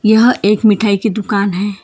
यहां एक मिठाई की दुकान है।